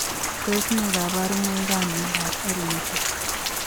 Tos nee kabarunoik ap miondop L netai ?